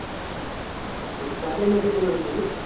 cord এর net নেবনা বুঝলি?